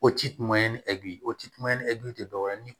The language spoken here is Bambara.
O tituma ye ni eguye o ti kuma ye ni egili te dɔwɛrɛ ye ni